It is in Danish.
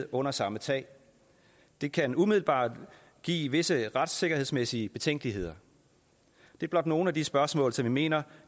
under samme tag det kan umiddelbart give visse retssikkerhedsmæssige betænkeligheder det er blot nogle af de spørgsmål som vi mener